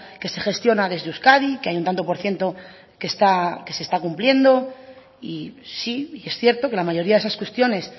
que se gestiona desde euskadi que hay un tanto por ciento que se está cumpliendo y sí y es cierto que la mayoría de esas cuestiones